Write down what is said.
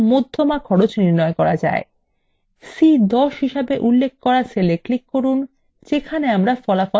c10 হিসেবে উল্লেখ করা cell we click করুন যেখানে আমরা এর cell প্রদর্শন করব